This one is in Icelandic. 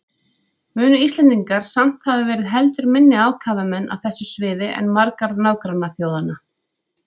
Munu Íslendingar samt hafa verið heldur minni ákafamenn á þessu sviði en margar nágrannaþjóðanna.